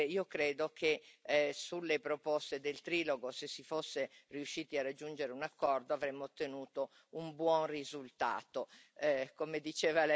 È un peccato, perché io credo che sulle proposte del trilogo, se si fosse riusciti a raggiungere un accordo, avremmo ottenuto un buon risultato.